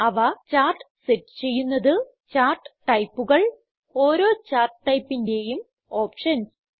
അവ chart set ചെയ്യുന്നത് chart ടൈപ്പുകൾ ഓരോ ചാർട്ട് ടൈപ്പിന്റേയും ഓപ്ഷൻസ്